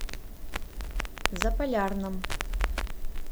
заполярном